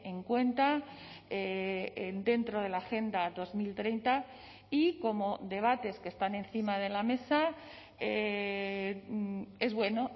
en cuenta dentro de la agenda dos mil treinta y como debates que están encima de la mesa es bueno